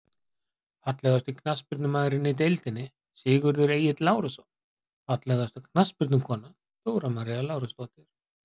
Fallegasti knattspyrnumaðurinn í deildinni: Sigurður Egill Lárusson Fallegasta knattspyrnukonan: Dóra María Lárusdóttir.